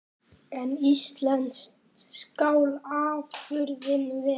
En íslensk skal afurðin vera.